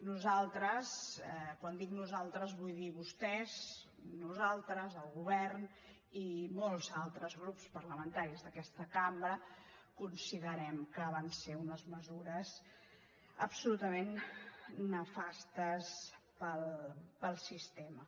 nosaltres quan dic nosaltres vull dir vostès nosaltres el govern i molts altres grups parlamentaris d’aquesta cambra considerem que van ser unes mesures absolutament nefastes per al sistema